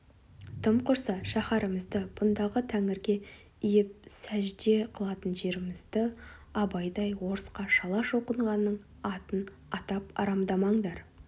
тым құрса шәһәрімізді бұндағы тәңірге иіп сәждә қылатын жерімізді абайдай орысқа шала шоқынғанның атын атап арамдамаңдар